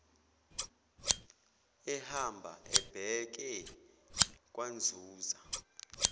ehamba ebheke kwanzuza